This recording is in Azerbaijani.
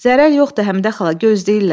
Zərər yoxdu Həmidə xala, gözləyirlər.